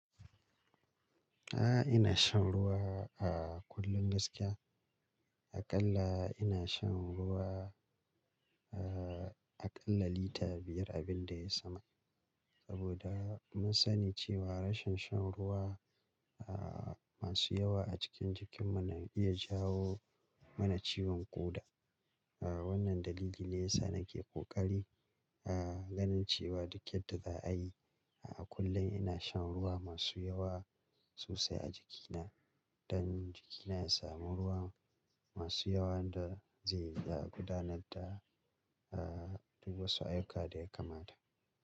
A'a, ina shan ruwa a kullum gaskiya. Akalla ina shan ruwa, eh, akalla lita biyar abin da ya sama. Saboda mun sani cewa rashin shan ruwa, ah, masu yawa a cikin jikin mu na iya jawo mana ciwon ƙoda. Ah, wannan dalili ne yasa nake ƙoƙari, ah, ganin cewa duk yadda za a yi a kullum ina shan ruwa masu yawa sosai a jikina don jikina ya sami ruwa masu yawan da zai iya gudanar da, ah, duk wasu ayyuka da ya kamata.